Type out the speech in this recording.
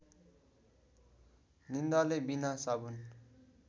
निन्दाले बिनासाबुन